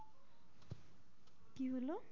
কি হলো?